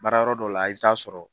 Baara yɔrɔ dɔ la i bɛ taa sɔrɔ.